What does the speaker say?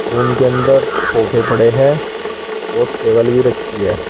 Room के अंदर सोफे पड़े हैं और टेबल भी रखी है।